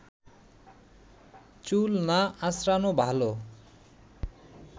চুল না আঁচড়ানো ভালো